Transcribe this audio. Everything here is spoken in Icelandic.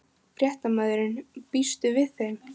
Fréttamaður: Býstu við þeim?